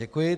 Děkuji.